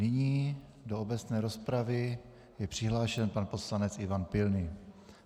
Nyní do obecné rozpravy je přihlášen pan poslanec Ivan Pilný.